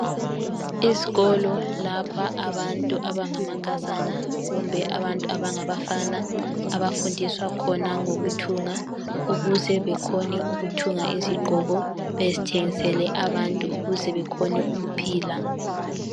Izikolo lapha abantu abangamankazana kumbe abantu abangabafana abafundiswa khona ngokuthunga ukuze bekhone ukuthunga izigqoko bezthengisele abantu ukuze bekhone ukuphila.